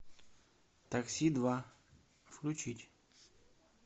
такси два включить